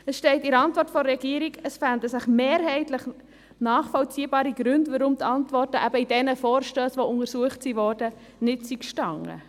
Da steht in der Antwort der Regierung, es fänden sich mehrheitlich nachvollziehbare Gründe, warum die Antworten eben in diesen Vorstössen, die untersucht wurden, nicht standen.